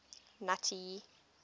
nuttie